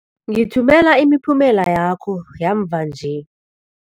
Ngithumela imiphumela yakho yamva nje.